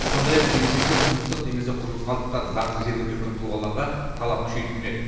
сондай ақ келешекте тұрмыстық немесе құрылыс қалдықтарын заңсыз жерге төккен тұлғаларға талап күшейтілмек